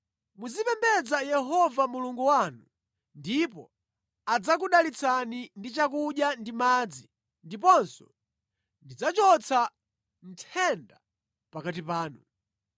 Muzipembedza Yehova Mulungu wanu ndipo adzakudalitsani ndi chakudya ndi madzi ndiponso ndidzachotsa nthenda pakati panu.